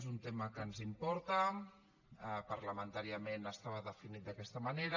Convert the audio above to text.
és un tema que ens importa parlamentàriament estava definit d’aquesta manera